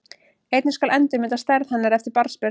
Einnig skal endurmeta stærð hennar eftir barnsburð.